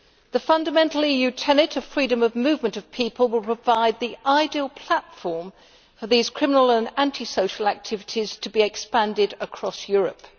The fundamental EU tenet of freedom of movement of people will provide the ideal platform for these criminal and anti social activities to be expanded across Europe.